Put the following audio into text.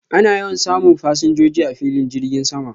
Ana yawan samun fasinjoji a filin girgin sama